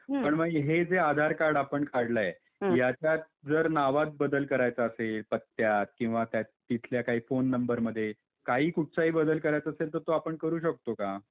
पण हे जे आधार कार्ड आपण काढला आहे यांच्यात जर नावात बदल करायचा असेल पत्त्यात किंवा तिथल्या काही फोन नंबरमध्ये काही कुठचा पण बदल करायचा आहे तो आपण करू शकतो का.